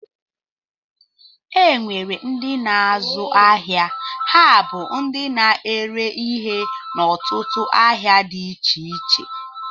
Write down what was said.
E nwere ndị na-azu áhiá, ha bú ndị na-ere ihe n'otutu ahịa dị iche iche.